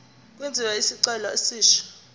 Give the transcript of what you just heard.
kwenziwe isicelo esisha